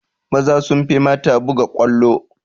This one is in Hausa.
Maza sun fi mata buga ƙwallo